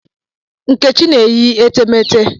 Nkechi na-eyi etemeete.